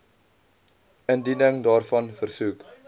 indiening daarvan versoek